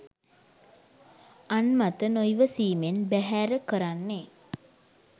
අන් මත නොයිවසීමෙන් බෑහෑර කරන්නේ?